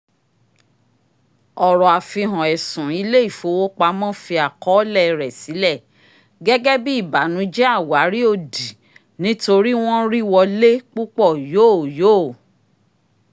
ẹ̀rọ àfihàn ẹ̀sùn ilé-ifowopamọ́ fi àkọọlẹ̀ rẹ sílẹ̀ gẹ́gẹ́ bí ìbànújẹ àwárí òdì nítorí wọ́n rí wọlé púpò yóò yóò